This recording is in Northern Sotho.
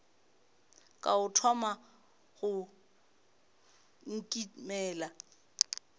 ka o thoma go nkimela